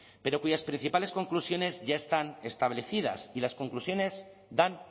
pero cuyas principales conclusiones ya están establecidas y las conclusiones dan